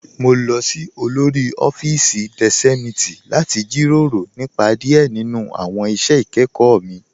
Mo lọ sí òlórí ọ̀fíìsí deṣémitì láti jíró rọ̀ nípa díẹ̀ nínu awọn iṣẹ́ ikẹkọ mi